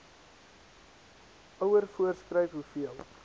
ouer voorskryf hoeveel